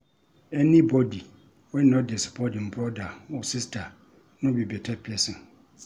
Any bodi wey no dey support im broda or sista no be beta pesin.